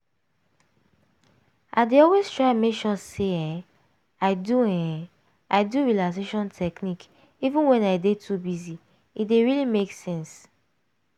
i dey always try make sure say um i do um i do relaxation technique even when i dey too busy - e dey really make sense.